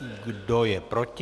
Kdo je proti?